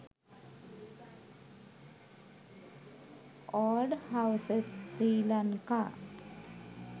old houses sri lanka